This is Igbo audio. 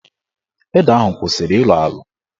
Ede ahụ kwụsịrị ịlọ alọ.